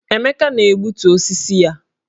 Emeka na-egbutu osisi ya